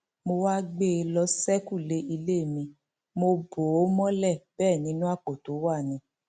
mo wáá gbé e lọ ṣèkúlẹ ilé mi mo bò ó mọlẹ bẹẹ nínú àpò tó wà ni